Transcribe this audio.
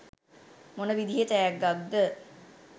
මොන විදිහේ තෑග්ගක්ද?